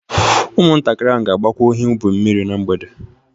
Ụmụntakịrị ga-agbakwa ihe ubi mmiri na mgbede